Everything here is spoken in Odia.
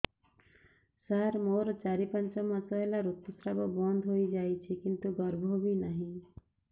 ସାର ମୋର ଚାରି ପାଞ୍ଚ ମାସ ହେଲା ଋତୁସ୍ରାବ ବନ୍ଦ ହେଇଯାଇଛି କିନ୍ତୁ ଗର୍ଭ ବି ନାହିଁ